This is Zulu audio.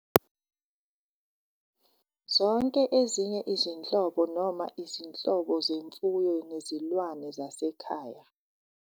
Zonke ezinye izinhlobo noma izinhlobo zemfuyo nezilwane zasekhaya